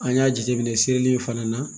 An y'a jateminɛ seli in fana na